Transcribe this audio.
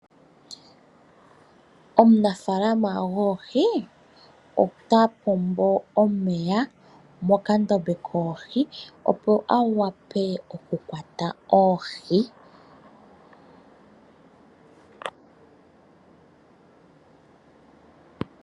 Omunafaalama goohi, ota pombo omeya mokandombe koohi, opo a wape okukwata oohi.